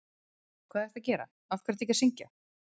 hvað ertu að gera, af hverju ertu ekki að syngja!?